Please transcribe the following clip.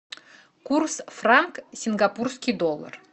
курс франк сингапурский доллар